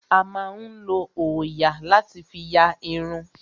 A máa ń lo òòyà láti fí ya irun.